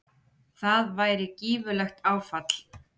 það væri gífurlegt áfall